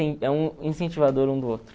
é um incentivador um do outro.